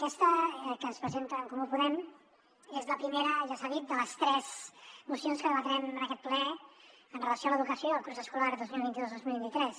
aquesta que ens presenta en comú podem és la primera ja s’ha dit de les tres mocions que debatrem en aquest ple amb relació a l’educació i al curs escolar dos mil vint dos dos mil vint tres